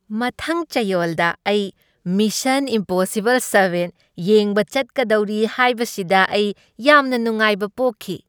ꯃꯊꯪ ꯆꯩꯌꯣꯜꯗ ꯑꯩ ꯃꯤꯁꯟ ꯏꯝꯄꯣꯁꯤꯕꯜ ꯁꯚꯦꯟ ꯌꯦꯡꯕ ꯆꯠꯀꯗꯧꯔꯤ ꯍꯥꯏꯕꯁꯤꯗ ꯑꯩ ꯌꯥꯝꯅ ꯅꯨꯡꯉꯥꯏꯕ ꯄꯣꯛꯈꯤ ꯫